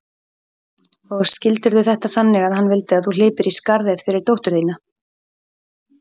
Og skildirðu þetta þannig að hann vildi að þú hlypir í skarðið fyrir dóttur þína?